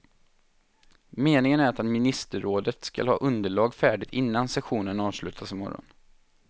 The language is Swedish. Meningen är att ministerrådet skall ha ett underlag färdigt innan sessionen avslutas i morgon.